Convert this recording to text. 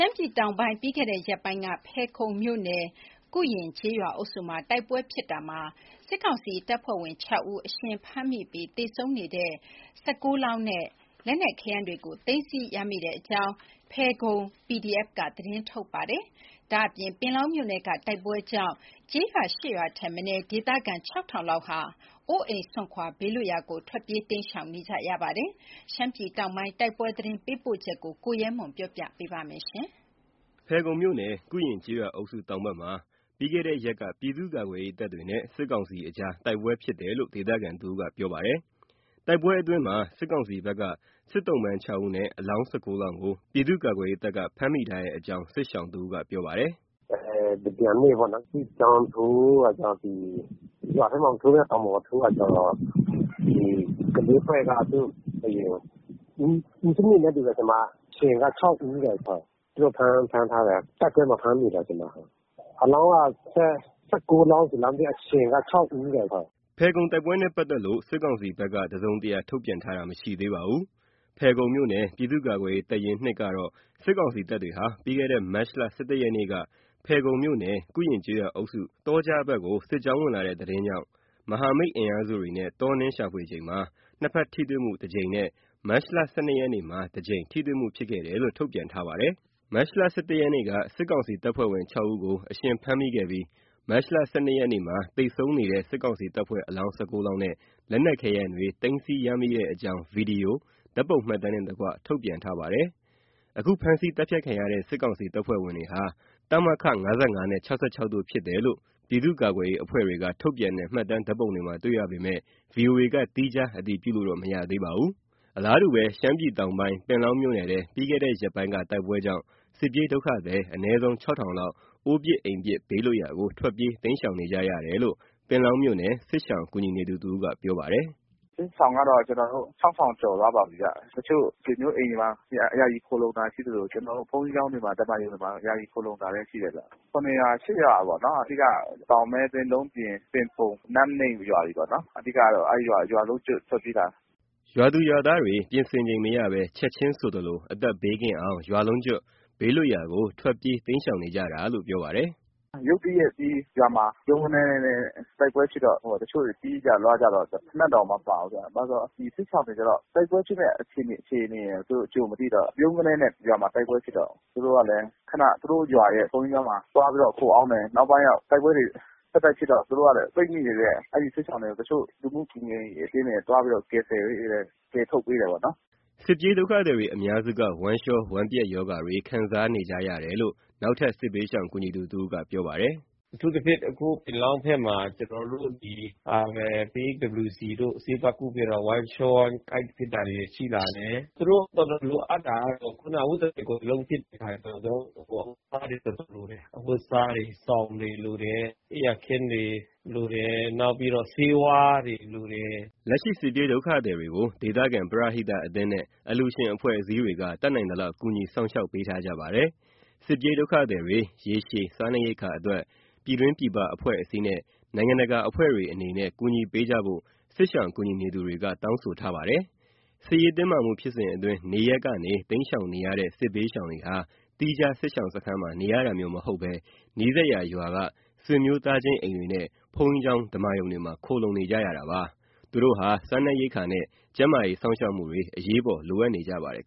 မ်းပြည်တောင်ပိုင်း ဖယ်ခုံမြို့နယ် ကုရင်ကျေးရွာအုပ်စုမှာ ပြီးခဲ့တဲ့ရက်ပိုင်းကဖြစ်ခဲ့တဲ့တိုက်ပွဲမှာ စစ်ကောင်စီတပ်ဖွဲ့ဝင် ၆ ဦးကို အရှင်ဖမ်းမိပြီး အလောင်း ၁၉ လောင်းနဲ့ လက်နက်ခဲယမ်းတွေကို သိမ်းဆည်းရမိတဲ့အကြောင်း ဖယ်ခုံ PDF က သတင်းထုတ်ပြန်ထားပါတယ်။ ဒါ့ပြင် ပင်လောင်းမြို့နယ်က တိုက်ပွဲကြောင့် ကျေးရွာ ၈ ရွာ ထက်မနည်း ဒေသခံ ၆,၀၀၀ လောက် အိုးအိမ်စွန့်ခွာ ဘေးလွတ်ရာ ထွက်ပြေးတိမ်းရှောင်နေကြပါတယ်။ ရှမ်းပြည်တောင်ပိုင်း တိုက်ပွဲသတင်းပေးပို့ချက်ကို ကိုရဲမွန်အောင်က တင်ပြပေးထားပါတယ်။ ဖယ်ခုံမြို့နယ် ကုရင်ကျေးရွာအုပ်စုတောင်ဘက်မှာ ပြီးခဲ့တဲ့ရက်က ပြည်သူ့ကာကွယ်ရေးတပ်တွေနဲ့ စစ်ကောင်စီကြားတိုက်ပွဲဖြစ်တယ်လို့ ဒေသခံတဦးက ပြောပါတယ်။ တိုက်ပွဲအတွင်းမှာ စစ်ကောင်စီဘက်က စစ်သုံ့ပန်း ၆ ဦးနဲ့ အလောင်း ၁၉ လောင်းကို ပြည်သူ့ကာကွယ်ရေးတပ်က ဖမ်းမိထားကြောင်း စစ်ရှောင်တဦးက ပြောပါတယ်။ “တမြန်နေ့ပေါ့နော်၊ စစ်ကြောင်းထိုးတာကြောင့် ဒီရွာထဲမှာ မထိုးဘူး။ တောင်ပေါ်မှာ ထိုးတယ်။ ဒီ (PDF) ကလေးအဖွဲ့က သူတို့ အရင်ဦးဆုံး ပစ်တယ်နဲ့တူတယ်။ (ဖမ်းမိတဲ့ စစ်ကောင်စီတပ်ဖွဲ့ဝင်) အရှင်က ၆ ဦးတဲ့။ ဟုတ်။ သူတို့ဖမ်းထားတယ်။ တိုက်ပွဲမှာ ဖမ်းမိတာ။ ဟုတ်။ အလောင်းက ၁၉ လောင်းဆိုလားမသိ။ အရှင်က ၆ ဦးတဲ့၊ ဟုတ်။ ” ဖယ်ခုံတိုက်ပွဲနဲ့ပတ်သက်လို့ စစ်ကောင်စီဘက်က တစုံတရာထုတ်ပြန်တာ မရှိသေးပါဘူး။ ဖယ်ခုံမြို့နယ် ပြည်သူ့ကာကွယ်ရေး တပ်ရင်း (၂) ကတော့ စစ်ကောင်စီတပ်တွေဟာ ပြီးခဲ့တဲ့မတ်လ ၁၁ ရက်နေ့က ဖယ်ခုံမြို့နယ် ကုရင်ကျေးရွာအုပ်စု တောကြားဘက်ကို စစ်ကြောင်းဝင်လာတဲ့သတင်းကြောင့် မဟာမိတ်အင်အားစုတွေနဲ့ တောနင်းရှာဖွေချိန်မှာ နှစ်ဖက်ထိတွေ့မှုတကြိမ်နဲ့ မတ် ၁၂ ရက်နေ့မှာတကြိမ် ထိတွေ့မှုဖြစ်ခဲ့တယ်လို့ ထုတ်ပြန်ထားပါတယ်။ မတ် ၁၁ ရက်နေ့က စစ်ကောင်စီတပ်ဖွဲ့ဝင် ၆ ဦးကို အရှင်ဖမ်းမိခဲ့ပြီး မတ် ၁၂ ရက်နေ့မှာ စစ်ကောင်စီတပ်ဖွဲ့ဝင် အလောင်း ၁၉ လောင်းနဲ့ လက်နက်ခဲယမ်းတွေ သိမ်းဆည်းရမိကြောင်း ဗီတီယို၊ ဓာတ်ပုံမှတ်တမ်းနှင့်တကွ ထုတ်ပြန်ထားပါတယ်။အခု ဖမ်းဆီးသတ်ဖြတ်ခံရတဲ့ စစ်ကောင်စီတပ်ဖွဲ့ဝင်တွေဟာ တမခ ၅၅ နဲ့ ၆၆ တို့ကဖြစ်တယ်လို့ ပြည်သူ့ကာကွယ်ရေးအဖွဲ့တွေကထုတ်ပြန်တဲ့ မှတ်တမ်း ဓါတ်ပုံတွေမှာတွေ့ရပေမယ့် ဗွီအိုအေက သီးခြားအတည်ပြုလို့တော့ မရသေးပါဘူး။ အလားတူ ရှမ်းပြည်တောင်ပိုင်း ပင်လောင်းမြို့နယ်ထဲ ပြီးခဲ့တဲ့ရက်ပိုင်းက တိုက်ပွဲကြောင့် စစ်ပြေးဒုက္ခသည် အနည်းဆုံး ၆,၀၀၀ လောက် အိုးပစ်အိမ်ပစ် ဘေးလွတ် ရာကို ထွတ်ပြေးတိမ်းရှောင်နေကြတယ်လို့ ပင်လောင်းမြို့နယ် စစ်ရှောင်ကူညီနေသူတဦးက ပြောပါတယ်။ “စစ်ရှောင်ကတော့ ခြောက်ထောင်ကျော်သွားပါပြီဗျ။ တချို့ဆွေမျိုးအိမ်တွေမှာ ယာယီခိုလှုံတာရှိသလို ဘုန်းကြီးကျောင်းတွေမှာ၊ ဓမ္မာရုံတွေမှာ ယာယီခိုလှုံတာလည်းရှိတယ်ဗျ။ ၇ ရွာ၊ ၈ ရွာပေါ့နော်။ အဓိက တောင်မဲသင်း၊ လုံပျဉ်၊ သင်ပုန်၊ နန်းနိမ်းရွာတွေပေါ့နော်။ အဓိကတော့ အဲ့ရွာ ရွာလုံးကျွတ်ထွက်ပြေးလာတာ။” ရွာသူရွာသားတွေ ပြင်ဆင်ချိန်မရဘဲ ချက်ချင်းဆိုသလို အသက်ဘေးကင်းအောင် ရွာလုံးကျွတ် ဘေးလွတ်ရာကို ထွက်ပြေးတိမ်းရှောင်နေကြတာလို့ ပြောပါတယ်။ “ရုတ်တရက် ရွာမှာတိုက်ပွဲဖြစ်တော့ တချို့တွေ ပြေးကြလွှားကြတော့ ဖိနပ်တောင် မပါဘူးဗျ။ ဘာလို့ဆို ဒီစစ်ရှောင်တွေကြတော့ တိုက်ပွဲဖြစ်တဲ့အခြေအနေ သူတို့ကြိုမသိတော့ ဖြုတ်ခနဲ ရွာမှာ တိုက်ပွဲဖြစ်တော့ သူတို့လည်း ခဏ သူတို့ရွာရဲ့ ဘုန်းကြီးကျောင်းမှာ သွားပြီးတော့ ခိုအောင်းတယ်။ နောက်ပိုင်းတော့ တိုက်ပွဲတွေ ဆက်တိုက်ဖြစ်တော့ သူတို့ကလည်း ပိတ်မိနေတဲ့ အဲ့ဒီစစ်ရှောင်တွေ တချို့ လူမှုကူညီရေးအသင်းတွေ သွားပြီးတော့ ကယ်ဆယ်ပေးတယ်။ ကယ်ထုတ်ပေးတာပေါ့နော်။” စစ်ပြေးဒုက္ခသည်တွေအများစုက ဝမ်းလျှော၊ ဝမ်းပျက်ရောဂါတွေ ခံစားနေကြရတယ်လို့ နောက်ထပ် စစ်ဘေးရှောင်ကူညီသူတဦးက ပြောပါတယ်။ “အထူးသဖြင့် အခုပင်လောင်းဘက်မှာ ကျနော်တို့ ဒီ PHWC တို့ ဆေးသွားကုပေးတော့ ဝမ်းလျှော၊ ဝမ်းကိုက်ဖြစ်တာတွေ ရှိလာတယ်။ သူတို့ အဝတ်တထည် ကိုယ်တလုံးပြေးလာတဲ့အတွက် အဝတ်အစားတွေ တော်တော်လိုတယ်။ အဝတ်အစားတွေ၊ စောင်တွေ လိုတယ်။ အိပ်ယာခင်းတွေ လိုတယ်။ နောက်ပြီးတော့ ဆေးဝါးတွေ လိုတယ်။” လက်ရှိ စစ်ပြေးဒုက္ခသည်တွေကို ဒေသခံပရဟိတအသင်းနဲ့ အလှူရှင်အဖွဲ့အစည်း တွေက တတ်နိုင်သလောက် ကူညီ စောင့်ရှောက်ပေးထားကြပါတယ်။ စစ်ပြေးဒုက္ခသည်တွေ ရေရှည် စားနပ်ရိက္ခာအတွက် ပြည်ပပြည်တွင်း အဖွဲ့အစည်းနဲ့ နိုင်ငံတကာ အဖွဲ့တွေအနေနဲ့ ကူညီပေးကြဖို့ စစ်ရှောင်ကူညီနေသူတွေက တောင်းဆိုထားပါတယ်။ စစ်ရေးတင်းမာမှုဖြစ်စဉ်အတွင်း နေရပ်ကနေ တိမ်းရှောင်နေရတဲ့ စစ်ဘေးရှောင်တွေဟာ သီးသန့်ထားတဲ့စစ်ရှောင်စခန်းမှာ နေရတာမျိုးမဟုတ်ဘဲ နီးစပ်ရာရွာက ဆွေမျိုးသားချင်းအိမ်တွေနဲ့ ဘုန်းကြီးကျောင်း၊ ဓမ္မာရုံတွေမှာ ခိုလှုံနေရပါတယ်။ သူတို့ဟာ စားနပ်ရိက္ခာနဲ့ ကျန်းမာရေး စောင့်ရှောက်မှုတွေ အရေးပေါ် လိုအပ်နေကြပါတယ်